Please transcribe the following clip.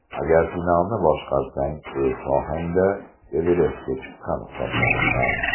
Agar finalni boshqarsang, o‘z sohangda Everestga chiqqan hisoblanasan.